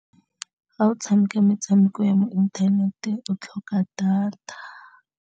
Ga o tshameka metshameko ya mo inthanete, o tlhoka data.